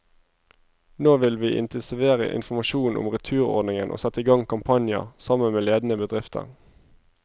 Nå vil vi intensivere informasjonen om returordningen og sette i gang kampanjer, sammen med ledende bedrifter.